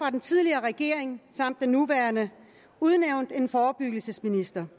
af den tidligere regering samt den nuværende udnævnt en forebyggelsesminister